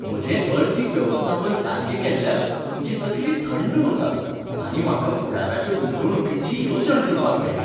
म्हजें अर्थीक वेवस्थापन सारकें केल्ल्यान म्हजी तकली थंड उरता आनी म्हाका फुडाराच्या गुंतवणुकींची येवजण करपाक मेळटा.